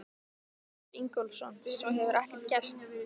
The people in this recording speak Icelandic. Sigurður Ingólfsson: Svo hefur ekkert gerst?